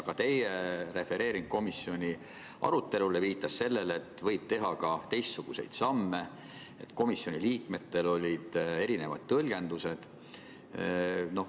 Ka teie esitatud komisjoni arutelu refereering viitas sellele, et võib teha ka teistsuguseid samme, et komisjoni liikmetel olid erinevad tõlgendused.